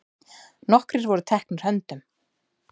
Nokkrir voru teknir höndum.